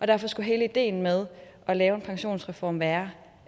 derfor skulle hele ideen med at lave en pensionsreform være